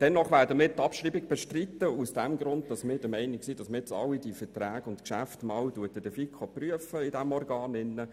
Dennoch bestreiten wir die Abschreibung, weil nun alle diese Geschäfte und Verträge in der Finanzkommission geprüft werden.